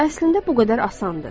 Əslində bu qədər asandır.